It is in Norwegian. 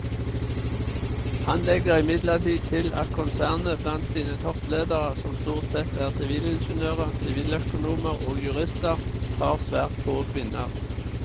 Han legger imidlertid til at konsernet blant sine toppledere som stort sette er sivilingeniører, siviløkonomer og jurister har svært få kvinner.